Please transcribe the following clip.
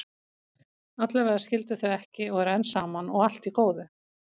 Allavega skildu þau ekki og eru enn saman, og allt í góðu.